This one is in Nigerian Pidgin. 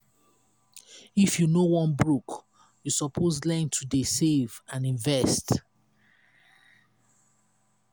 if you no wan broke you suppose learn to dey save and invest.